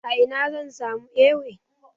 A ina zan samu Ewe?